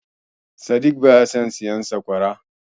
Sadik baya son siyan sakwara.